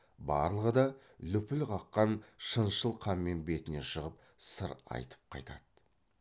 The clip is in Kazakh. барлығы да лүпіл қаққан шыншыл қанмен бетіне шығып сыр айтып қайтады